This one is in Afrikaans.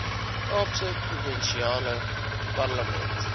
kaapse provinsiale parlement